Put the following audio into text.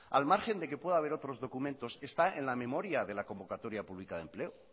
al margen que puede haber otros documentos está en la memoria de la convocatoria pública de empleo